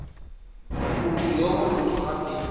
motho yo borutho gape yo